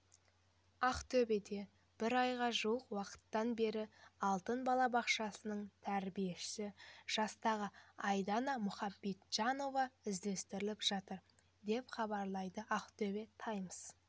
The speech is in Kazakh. ақтөбеде бір айға жуық уақыттан бері алтын бала балабақшасының тәрбиелеушісі жастағы айдана мұхамеджанова іздестіріліп жатыр деп хабарлайды актобе таймс